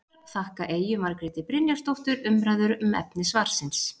Höfundar þakka Eyju Margréti Brynjarsdóttur umræður um efni svarsins.